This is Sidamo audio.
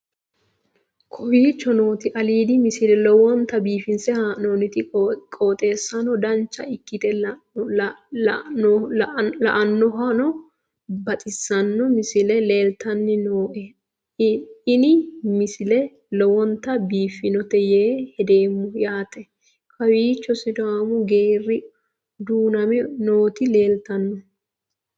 kowicho nooti aliidi misile lowonta biifinse haa'noonniti qooxeessano dancha ikkite la'annohano baxissanno misile leeltanni nooe ini misile lowonta biifffinnote yee hedeemmo yaate kowiicho sidaammu geeri duuname nooti leeltanno